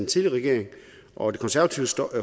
tidligere regering og det konservative